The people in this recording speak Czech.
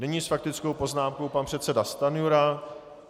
Nyní s faktickou poznámkou pan předseda Stanjura.